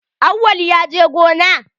Awwal ya je gona?